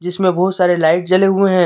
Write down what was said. जिसमें बहुत सारे लाइट जले हुए हैं।